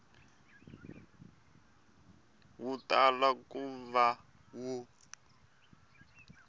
wu tala ku va wu